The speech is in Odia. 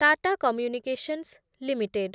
Tata communications limited